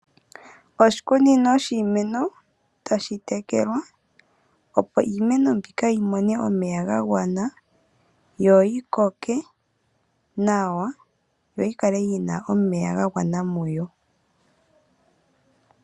Oshikunino shiimeno otashi tekelwa opo iimeno yimone omeya ga gwana yo yikoke nawa yo yikale yina omeya ga gwana muyo.